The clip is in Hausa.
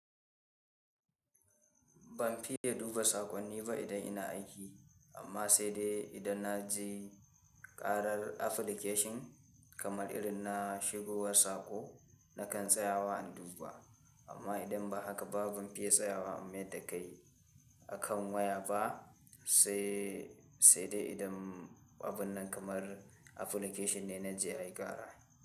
Ban fiye duba saƙonni ba idan ina aiki, amma sai dai idan na ji ƙarar application kamar irin na shigowar saƙo nakan tsaya wa in duba. Amma idan ba haka ba ban fiye tsayawa in maida kai a kan waya ba sai sai dai idan abun nan kamar application ne na ji ya yi ƙara.